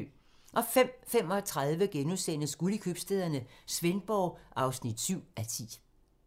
05:35: Guld i købstæderne - Svendborg (7:10)*